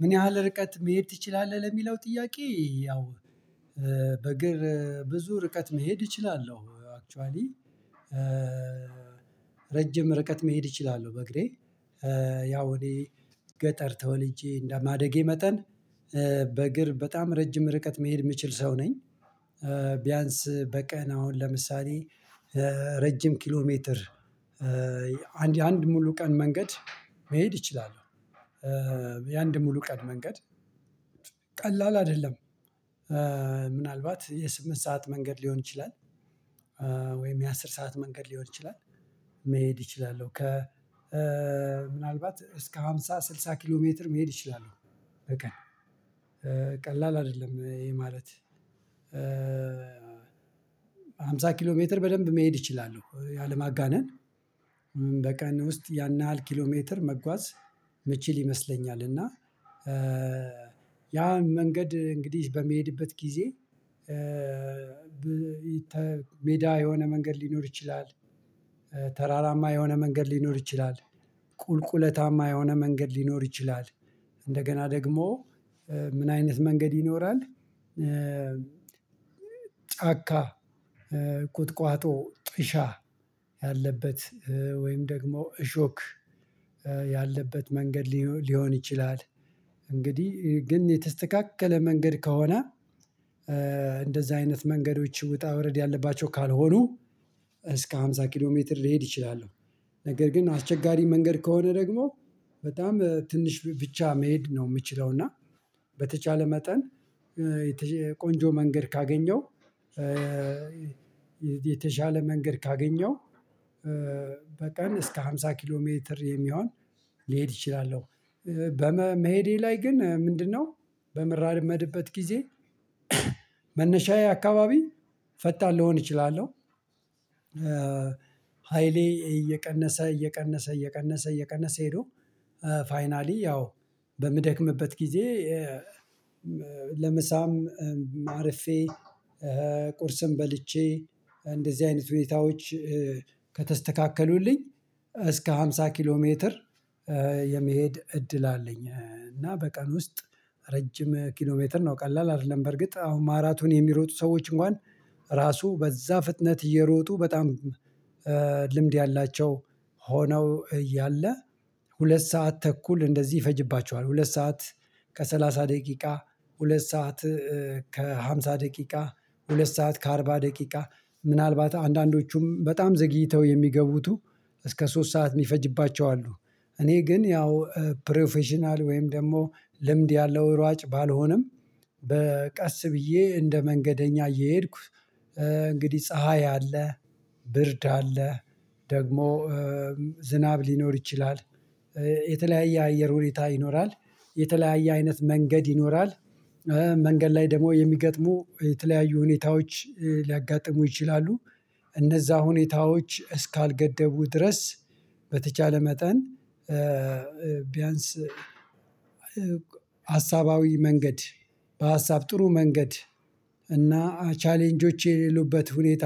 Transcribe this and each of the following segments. ምን ያህል ርቀት መሄድ ትችላለህ? ለሚለው ጥያቄ ያው በእግር ብዙ ርቀት መሄድ እችላለሁ አክቹዋሊ ረጅም ርቀት መሄድ እችላለሁ በእግሬ። ያው እኔ ገጠር ተወልጄ እንደ ማደጌ መጠን በእግር በጣም ረጅም ርቀት መሄድ የምችል ሰው ነኝ። ቢያንስ በቀን አሁን ለምሳሌ ረጅም ኪሎ ሜትር አንድ የአንድ ሙሉ ቀን መንገድ መሄድ እችላለሁ። የአንድ ሙሉ ቀን መንገድ ቀላል አይደለም ምናልባት የስምንት ሰዓት መንገድ ሊሆን ይችላል። ወይም የአሥር ሰዓት መንገድ ሊሆን ይችላል። መሄድ እችላለሁ ከ ምናልባት እስከ ሃምሳ ስልሳ ኪሎ ሜትር መሄድ እችላለሁ። በቀን ቀላል አይደለም ይሄ የማለት አምሳ ኪሎ ሜትር በደንብ መሄድ እችላለሁ ያለ ማጋነን በቀን ውስጥ ያን ያህል ኪሎ ሜትር መጓዝ ምችል ይመስለኛል። እና ያ መንገድ እንግዲህ በመሄድበት ጊዜ ሜዳ የሆነ መንገድ ሊኖር ይችላል ተራራማ የሆነ መንገድ ሊኖር ይችላል። ቁልቁለታማ የሆነ መንገድ ሊኖር ይችላል እንደገና ደግሞ ምን አይነት መንገድ ይኖራል? ጫካ ቁጥቋጦ ጥሻ ያለበት ወይም ደግሞ እሾክ ያለበት መንገድ ሊሆን ይችላል። እንግዲህ ግን የተስተካከለ መንገድ ከሆነ እንደዛ አይነት መንገዶች ውጣ ወረድ ያለባቸው ካልሆኑ እስከ ሃምሳ ኪሎ ሜትር ልሄድ እችላለሁ። ነገር ግን አስቸጋሪ መንገድ ከሆነ ደግሞ በጣም ትንሽ ብቻ መሄድ ነው የምችለው እና። በተቻለ መጠን ቆንጆ መንገድ ካገኘው የተሻለ መንገድ ካገኘው በቀን እስከ ሃምሳ ኪሎ ሜትር የሚሆን ሊሄድ እችላለው። በመሄዴ ላይ ግን ምንድነው በመራር የምሄድበት ጊዜ መነሻዬ አካባቢ ፈጣን ሊሆን እችላለሁ። ሃይሌ እየቀነሰ እየቀነሰ እየቀነሰ እየቀነሰ ሄዶ ፋይናሊ ያው በምደክምበት ጊዜ ለምሳም አርፌ ቁርስም በልቼ እንደዚህ አይነት ሁኔታዎች ከተስተካከሉልኝ እስከ ሃምሳ ኪሎ ሜትር የመሄድ እድል አለኝ። እና በቀን ውስጥ ረጅም ኪሎሜትር ነው ቀላል አይደለም። በርግጥ አሁን ማራቶን የሚሮጡ ሰዎች እንኳን ራሱ በዛ ፍጥነት እየሮጡ በጣም ልምድ ያላቸው ሆነው እያለ ሁለት ሰዓት ተኩል እንደዚህ ይፈጅባችኋል። ሁለት ሰዓት ከሰላሳ ደቂቃ ሁለት ሰዓት ከሃምሳ ደቂቃ ሁለት ሰዓት ከአርባ ደቂቃ ምናልባት አንዳንዶቹም በጣም ዘግይተው የሚገቡቱ እስከ ሶስት ሰዓት የሚፈጅባቸው አሉ። እኔ ግን ያው ፕሮፌሽናል ወይም ደግሞ ልምድ ያለው ሯጭ ባልሆንም በቀስ ብዬ እንደ መንገደኛ እየሄድኩ እንግዲህ ፀሀይ አለ ብርድ አለ ደግሞ ዝናብ ሊኖር ይችላል። የተለያየ አየር ሁኔታ ይኖራል የተለያየ አይነት መንገድ ይኖራል። መንገድ ላይ ደግሞ የሚገጥሙ የተለያዩ ሁኔታዎች ሊያጋጥሙ ይችላሉ። እነዛ ሁኔታዎች እስካልገደቡ ድረስ በተቻለ መጠን ቢያንስ ሀሳባዊ መንገድ በሀሳብ ጥሩ መንገድ እና ቻሌንጆች የሌሉበት ሁኔታ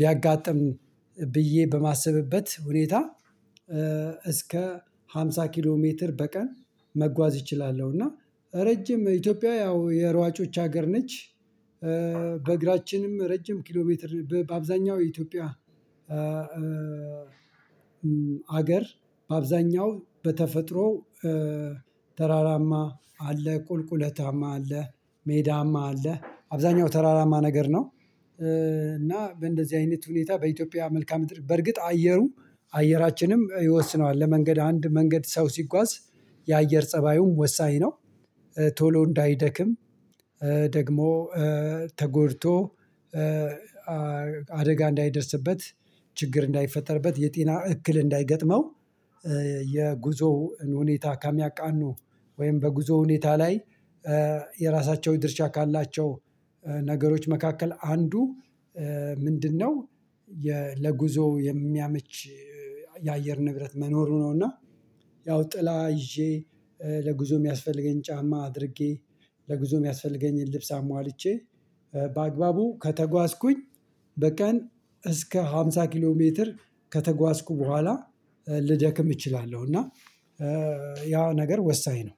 ቢያጋጥም ብዬ በማሰብበት ሁኔታ እስከ ሃምሳ ኪሎ ሜትር በቀን መጓዝ እችላለሁ። እና ረጅም ኢትዮጵያዊ ያው የሯጮች ሀገር ነች። በእግራችንም ረጅም ኪሎ ሜትር በአብዛኛው የኢትዮጵያ አገር በአብዛኛው በተፈጥሮ ተራራማ አለ ቁልቁለታማ አለ ሜዳማ አለ አብዛኛው ተራራማ ነገር ነው። እና በእንደዚህ አይነት ሁኔታ በኢትዮጵያ መልካም እጥር በርግጥ አየሩ አየራችንም ይወስነዋል ለመንገድ አንድ መንገድ ሰው ሲጓዝ የአየር ፀባዩም ወሳኝ ነው። ቶሎ እንዳይደክም ደግሞ ተጎድቶ አደጋ እንዳይደርስበት ችግር እንዳይፈጠርበት የጤና እክል እንዳይገጥመው የጉዞውን ሁኔታ ካሚያቃኑ ወይም በጉዞው ሁኔታ ላይ የራሳቸው ድርሻ ካላቸው ነገሮች መካከል አንዱ ምንድነው ለጉዞው የሚያመች የአየር ንብረት መኖሩ ነው? እና ያው ጥላ ይዤ ለጉዞ የሚያስፈልገኝ ጫማ አድርጌ ለጉዞ የሚያስፈልገኝን ልብስ አሟልቼ በአግባቡ ከተጓዝኩኝ በቀን እስከ ሃምሳ ኪሎ ሜትር ከተጓዝኩ በኋላ ልጀክም እችላለሁ። እና ያ ነገር ወሳኝ ነው።